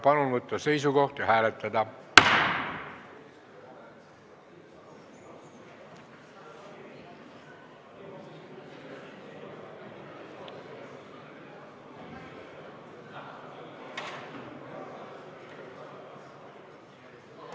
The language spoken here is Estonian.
Palun võtta seisukoht ja hääletada!